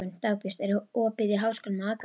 Dagbjört, er opið í Háskólanum á Akureyri?